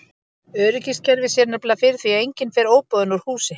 Öryggiskerfið sér nefnilega fyrir því að enginn fer óboðinn úr húsi.